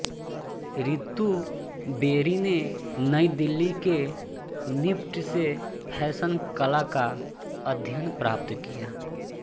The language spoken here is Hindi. रितु बेरी ने नई दिल्ली के निफ्ट से फैशन कला का अध्ययन प्राप्त किया